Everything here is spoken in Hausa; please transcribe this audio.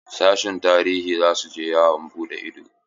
Sashin tarihi za su je yawon buɗe ido.